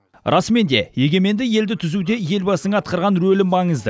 расымен де егеменді елді түзуде елбасының атқарған рөлі маңызды